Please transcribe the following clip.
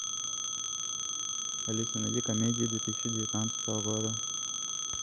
алиса найди комедии две тысячи девятнадцатого года